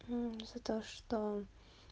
за то что